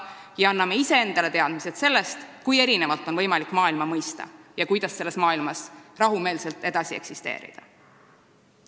Samuti annaksime iseendale teadmisi sellest, kui erinevalt on võimalik maailma mõista ja kuidas selles maailmas rahumeelselt edasi eksisteerida.